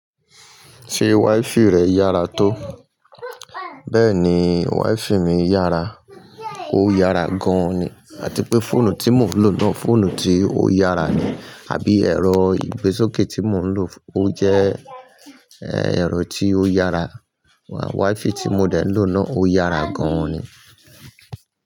Ṣé wífì rẹ̀ yára tó? Bẹẹni, wífì mi yára, ó yára gan-an ni. À ti pé fóònù tí mò ń lò náà, fóònù tí ó yára ni. Àbí ẹ̀rọ ìgbésókè tí mò ń lò, ó jẹ́ ẹ̀rọ tí ó yára. Wifì tí mo dẹ̀ ń lò náà ó yára gan-an ni.